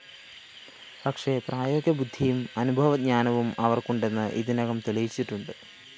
പക്ഷേ പ്രായോഗിക ബുദ്ധിയും അനുഭവജ്ഞാനവും അവര്‍ക്കുണ്ടെന്ന് ഇതിനകം തെളിയിച്ചിട്ടുണ്ട്